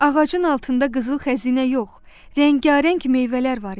Ağacın altında qızıl xəzinə yox, rəngarəng meyvələr var idi.